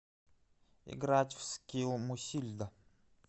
играть в скилл мусильда